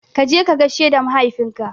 Kaje ka gaishe da mahaifin ka